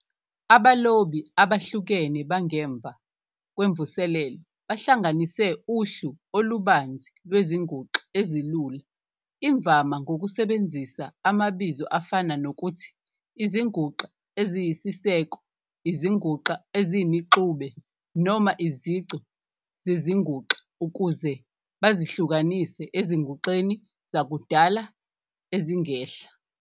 Abalobi abahlukene bangemva kwemvuselelo bahlanganise uhlu olubanzi "lwezinguxa ezilula", imvama ngokusebenzisa amabizo afana nokuthi izinguxa eziyisiseko, izinguxa eziyimixube, noma izici zezinguxa ukuze bazihlukanise ezinguxeni zakudala ezingehla.